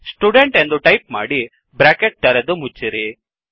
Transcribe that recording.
student ಎಂದು type ಮಾಡಿ bracket ತೆರೆದು ಮುಚ್ಚಿರಿ